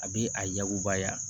A bɛ a y'uba yan